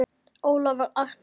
Ólafur Arnar.